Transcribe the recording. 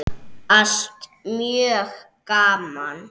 Allt mjög gaman.